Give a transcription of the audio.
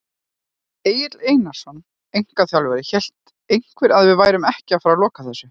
Egill Einarsson, einkaþjálfari: Hélt einhver að við værum ekki að fara loka þessu!?